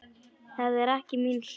Það er ekki mín sök.